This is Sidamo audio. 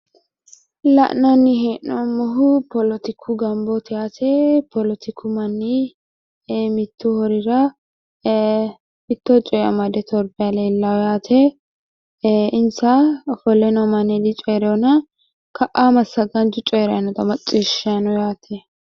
Kuni la'neemmohu politiku manni mittu harira ofolle torbanni noota xawisanno kuni ofollinohu coyirikkkinni Massagaanchu coyiranni noota macciishshanni noo mannaati.